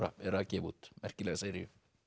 er að gefa út merkilega seríu